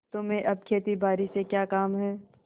तुम्हें अब खेतीबारी से क्या काम है